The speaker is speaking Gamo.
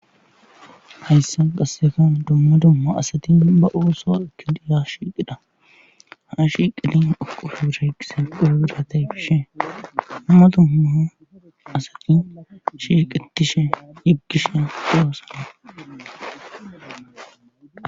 Hayssa qassekan dumma dumma asati ba ooso ki diya shiiqidha ha ashi qilin oqofho bira yqise qorobira tayfishe hummato homma asati shiiqitishe yiggisha doossana.